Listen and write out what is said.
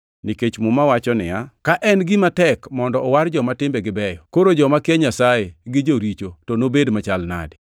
Nikech Muma wacho niya, “Ka en gima tek mondo owar joma timbegi beyo, koro joma kia Nyasaye gi joricho to nobed machalo nadi?” + 4:18 \+xt Nge 11:31\+xt*